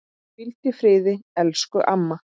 Hvíldu í friði elsku amma.